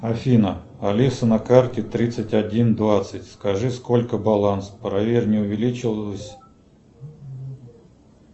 афина алиса на карте тридцать один двадцать скажи сколько баланс проверь не увеличилось